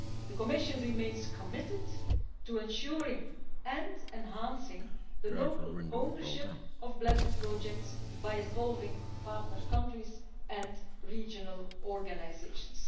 The Commission remains committed to ensuring and enhancing the local ownership of blended projects by involving partner countries and regional organisations.